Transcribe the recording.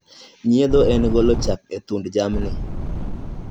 Nyiedho en golo chak e thund jamni.